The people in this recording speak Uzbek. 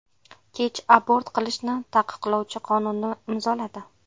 Kech abort qilishni taqiqlovchi qonunni imzoladi .